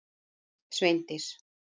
Sveindís